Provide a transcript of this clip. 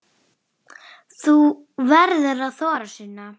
Þú verður að þora, Sunna.